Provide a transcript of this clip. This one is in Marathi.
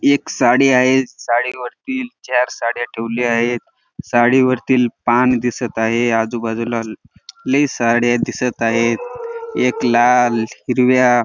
एक साडी आहे साडी वरती चार साड्या ठेवल्या आहे साडीवरील पान दिसत आहे आजूबाजूला ल लय साड्या दिसत आहेत एक लाल हिरव्या --